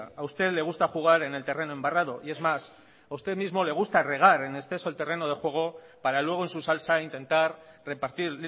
a usted le gusta jugar en el terreno embarrado y es más a usted mismo le gusta regar en exceso el terreno de juego para luego en su salsa intentar repartir